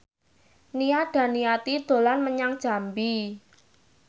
Nia Daniati dolan menyang Jambi